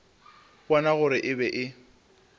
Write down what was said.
bona gore e be e